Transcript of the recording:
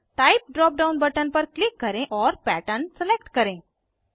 type drop down button पर click करें और पैटर्न सलेक्ट करें